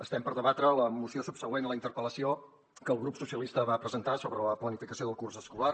estem per debatre la moció subsegüent a la interpel·lació que el grup socialistes va presentar sobre la planificació del curs escolar